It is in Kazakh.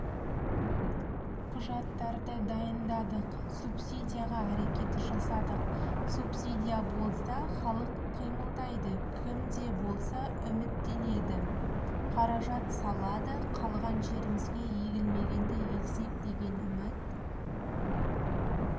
құжаттарды дайындадық субсидияға әрекет жасадық субсидия болса халық қимылдайды кім де болса үміттендеді қаражат салады қалған жерімізге егілмегенді ексек деген үміт